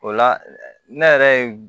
O la ne yɛrɛ ye